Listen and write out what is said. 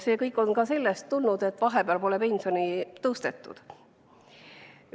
See kõik on tulnud ka sellest, et vahepeal pole pensioni tõstetud.